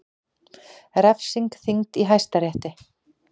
Refsing þyngd í Hæstarétti